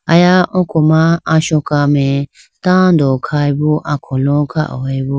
Aya oko ma Asoka mai tando khayibo akholo khayibo.